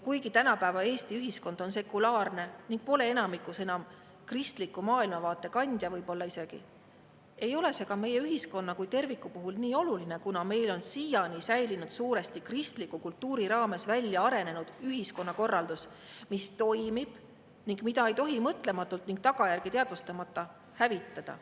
Kuigi tänapäeva Eesti ühiskond on sekulaarne ning pole enamikus enam võib-olla isegi kristliku maailmavaate kandja, ei ole see ka meie ühiskonna kui terviku puhul nii oluline, kuna meil on siiani säilinud suuresti kristliku kultuuri raames väljaarenenud ühiskonnakorraldus, mis toimib ning mida ei tohi mõtlematult ning tagajärgi teadvustamata hävitada.